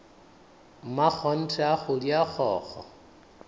mmakgonthe a kgodi a kgokgo